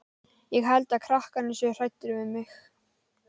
Ég held að krakkarnir séu hræddir við mig.